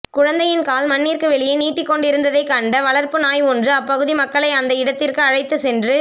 குழந்தையின் கால் மண்ணிற்கு வெளியே நீட்டிக்கொண்டிருந்ததைக் கண்ட வளர்ப்பு நாய் ஒன்று அப்பகுதி மக்களை அந்த இடத்திற்கு அழைத்துச் சென்று